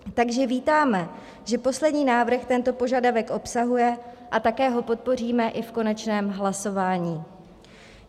Takže vítáme, že poslední návrh tento požadavek obsahuje, a také ho podpoříme i v konečném hlasování.